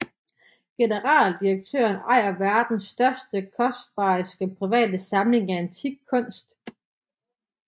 Generaldirektøren ejer verdens største og kostbareste private samling af antik kunst